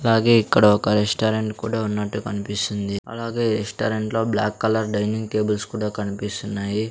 అలాగే ఇక్కడ ఒక రెస్టారెంట్ కుడా ఉన్నట్టు కన్పిస్తుంది అలాగే ఈ రెస్టారెంట్లో బ్లాక్ కలర్ డైనింగ్ టేబుల్స్ కుడా కన్పిస్తున్నాయి.